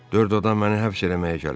Dörd adam məni həbs eləməyə gəlib.